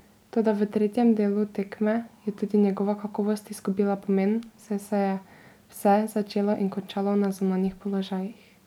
Toda v tretjem delu tekme je tudi njegova kakovost izgubila pomen, saj se je vse začelo in končalo na zunanjih položajih.